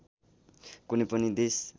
कुनै पनि देश